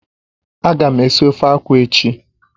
Ága m esi ofe akwụ echi